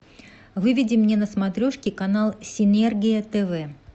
выведи мне на смотрешке канал синергия тв